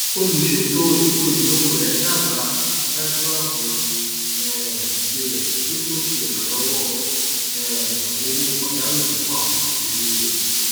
olùṣètò ètò ináwó rẹ dábàá fífiṣájú ààbò um tirẹ kí ó tó ṣe ìrànlọwọ um owó pàjáwìrì fún àwọn mọlẹbí rẹ